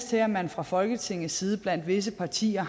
til at man fra folketingets side blandt visse partier